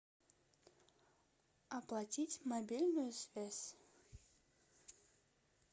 оплатить мобильную связь